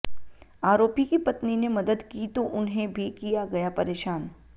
आरोपी की पत्नी ने मदद की तो उन्हें भी किया गया परेशान